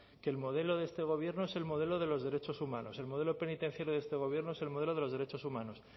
que el modelo de este gobierno es el modelo de los derechos humanos el modelo penitenciario de este gobierno es el modelo de los derechos humanos